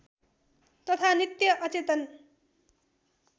तथा नित्य अचेतन